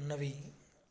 ఉన్నివి